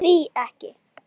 Því ekki?